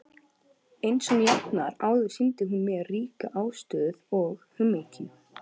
Einsog jafnan áður sýndi hún mér ríka ástúð og umhyggju.